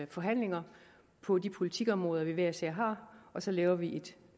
forhandlinger på de politikområder som man hver især har og så laver vi